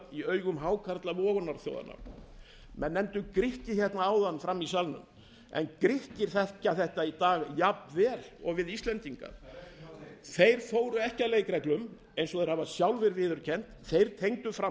í augum hákarla vogunarsjóðanna menn nefndu grikki áðan frammi í salnum þeir þekkja þetta í dag jafn vel og við íslendingar það er ekki þeir fóru ekki að leikreglum eins og þeir hafa sjálfir viðurkennt þeir tengdu fram